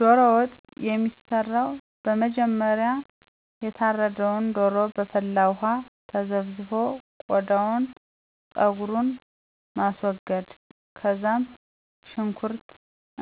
ዶሮ ወጥ። የሚሠራው በመጀመሪያ የታረደውን ዶሮ በፈላ ዉሃ ተዘፍዝፎ ቆዳውንና ጸጉሩን ማስወገድ ከዛም ሽኩርት